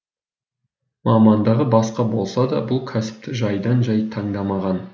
мамандығы басқа болса да бұл кәсіпті жайдан жай таңдамаған